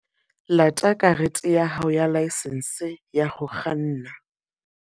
Lata karete ya hao ya laesense ya ho kganna.